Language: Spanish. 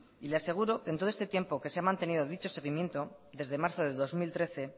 y le aseguro que en todo este tiempo que se ha mantenido dicho seguimiento desde marzo de dos mil trece